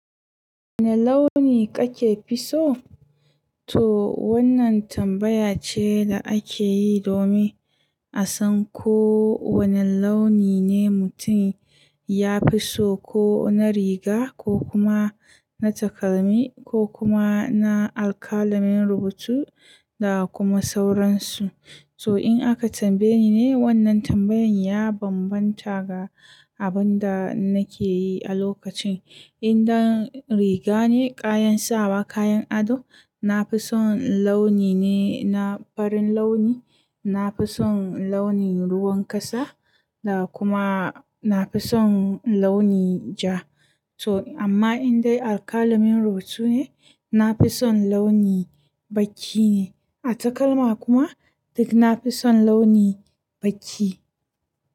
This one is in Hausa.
Wane launi kake fi so? To wannan tambaya ce da ake yi domin a san ko wane launi ne mutum ya fi so, ko na riga ko kuma na takalmi ko kuma na alƙalamin rubutu da kuma sauransu. To in aka tambaye ni ne, wannan tambayan ya bambanta ga abin da nake yi a lokacin. In dan riga ne, kayan sawa, kayan ado, na fi son launi ne na farin launi, na fi son launin ruwan kasa, da kuma na fi son launi ja. To amma in dai alƙalamin rubutu ne, na fi son launi baki ne. A takalma kuma duk na fi son launi baki.